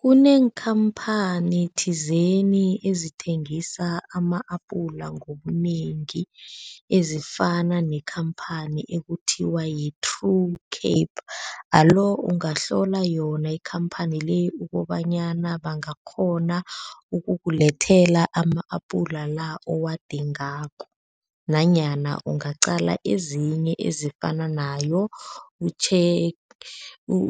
Kuneekhamphani thizeni ezithengisa ama-apula ngobunengi ezifana nekhamphani ekuthiwa yi-True Cape, alo ungahlola yona ikhamphani le ukobanyana bangakghona ukukulethela ama-apula la owadingako nanyana ungaqala ezinye ezifana nayo,